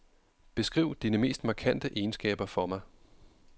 Beskriv dine mest markante egenskaber for mig.